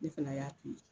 Ne fana y'a to ye